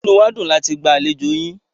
Inú wá dùn láti gba àlejò yín.